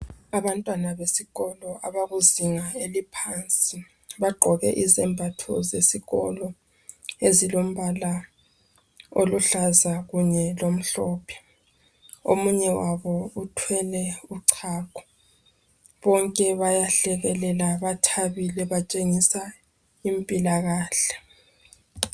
Abantwana besikolo abakuzinga eliphansi bagqoke izembatho zesikolo ezilombala oluhlaza kunye lomhlophe omunye wabo uthwele uchago bonke bayahlekelela bathabile batshengisa impilakahle.